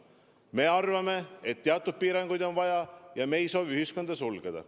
Me arvame, et teatud piiranguid on vaja, aga me ei soovi ühiskonda sulgeda.